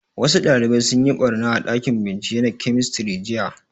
Wasu ɗalibai sun yi ɓarna a ɗakin bincike na kemistri jiya